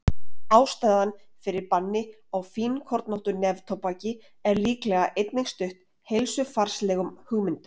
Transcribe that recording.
Ástæðan fyrir banni á fínkornóttu neftóbaki er líklega einnig stutt heilsufarslegum hugmyndum.